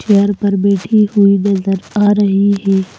Chair पर बैठी हुई नजर आ रही है।